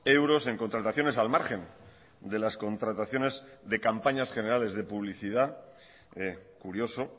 euros en contrataciones al margen de las contrataciones de campañas generales de publicidad curioso